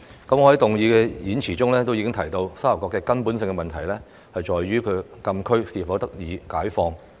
我在動議議案時的演辭中已經提到，沙頭角的根本問題在於其所在的禁區是否得以開放。